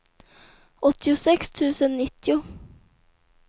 åttiosex tusen nittio